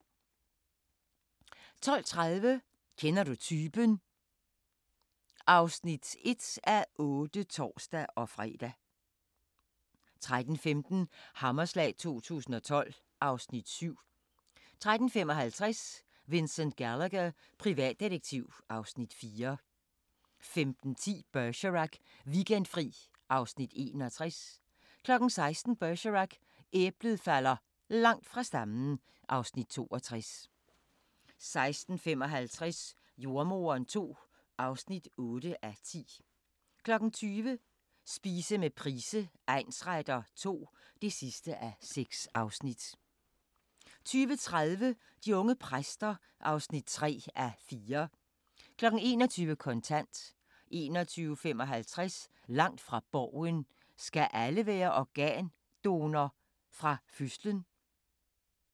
12:30: Kender du typen? (1:8)(tor-fre) 13:15: Hammerslag 2012 (Afs. 7) 13:55: Vincent Gallagher, privatdetektiv (Afs. 4) 15:10: Bergerac: Weekendfri (Afs. 61) 16:00: Bergerac: Æblet falder langt fra stammen (Afs. 62) 16:55: Jordemoderen II (8:10) 20:00: Spise med Price egnsretter II (6:6) 20:30: De unge præster (3:4) 21:00: Kontant 21:55: Langt fra Borgen: Skal alle være organdonor fra fødslen?